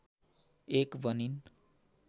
एक बनिन्